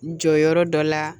Jɔyɔrɔ dɔ la